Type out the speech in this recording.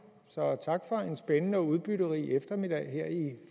så tak for en spændende og udbytterig eftermiddag her i